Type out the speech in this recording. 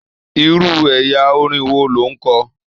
Irú ẹyà orin wo lo n kọ?